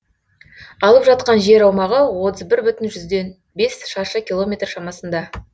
алып жатқан жер аумағы отыз бір бүтін жүзден бес шаршы километр шамасында